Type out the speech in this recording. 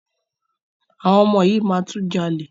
Àwọn ọmọ yìí máa tún jalè.